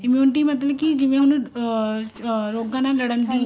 immunity ਮਤਲਬ ਕੇ ਜਿਵੇਂ ਹੁਣ ਅਮ ਅਮ ਲੋਕਾਂ ਨਾਲ ਲੜਨ ਦੀ